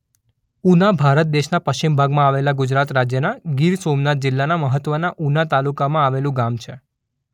ઉના ભારત દેશના પશ્ચિમ ભાગમાં આવેલા ગુજરાત રાજ્યના ગીર સોમનાથ જિલ્લાના મહત્વના ઉના તાલુકામાં આવેલું ગામ છે.